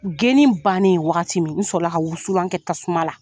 Geni bannen wagati min n sɔrɔla ka wusulan kɛ tasuma la.